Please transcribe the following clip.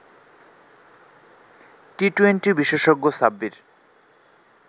T twenty বিশেষজ্ঞ সাব্বির